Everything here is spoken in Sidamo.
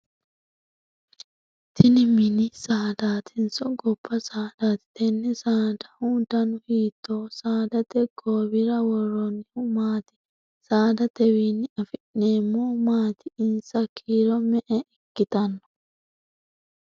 Tinni minni saadaatiso gaba saadaati? Tenne saadahu danu hiitooho? Saadate goowira woroonnihu maati? Saadatewiinni afi'neemo maati? Insa kiiro me"e ikitanno?